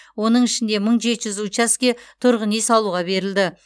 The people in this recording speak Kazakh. оның ішінде мың жеті жүз учаске тұрғын үй салуға берілді